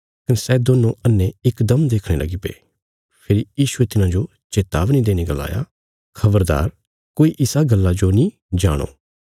कने सै दोन्नों अन्हे इकदम देखणे च सक्षम हुईगे फेरी यीशुये तिन्हांजो चेतावनी देईने गलाया खबरदार तुहें किसी ने नीं बोल्यों भई मैं तुहांरे खातर क्या कित्तीरा